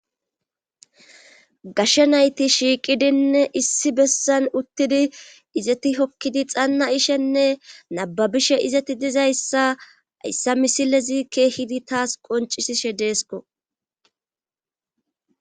Gashshe nayti shiiqidinne issi bessan uttidi izeti hokkidi xanna ishenne nababishe izeti dizayssa hayssa misilezi keehidi taas qoncisishe deesko.